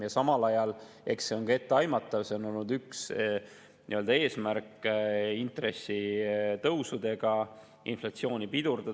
Eks see on samal ajal ka etteaimatav, üks eesmärk on olnud intressitõusudega inflatsiooni pidurdada.